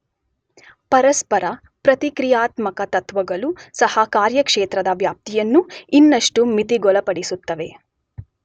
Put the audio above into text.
ಪರಸ್ಪರ ಪ್ರತಿಕ್ರಿಯಾತ್ಮಕ ತತ್ವಗಳೂ ಸಹ ಕಾರ್ಯಕ್ಷೇತ್ರದ ವ್ಯಾಪ್ತಿಯನ್ನು ಇನ್ನಷ್ಟು ಮಿತಿಗೊಳಪಡಿಸುತ್ತವೆ.